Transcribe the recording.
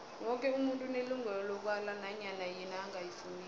woke umuntu unelungelo lokwala nanyana yini angayifuniko